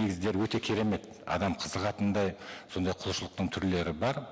негіздері өте керемет адам қызығатындай сондай құлшылықтың түрлері бар